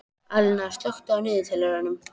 Alíana, slökktu á niðurteljaranum.